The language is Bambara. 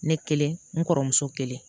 Ne kelen n kɔrɔmuso kelen